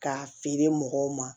K'a feere mɔgɔw ma